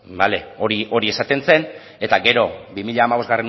hori esaten zen eta gero bi mila hamabostgarrena